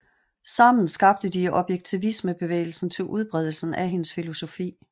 Sammen skabte de objektivismebevægelsen til udbredelse af hendes filosofi